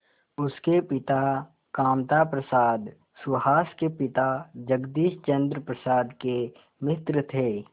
उसके पिता कामता प्रसाद सुहास के पिता जगदीश चंद्र प्रसाद के मित्र थे